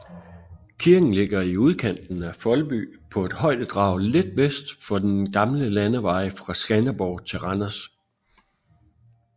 Kirken ligger i udkanten af Foldby på et højdedrag lidt vest for den gamle landevej fra Skanderborg til Randers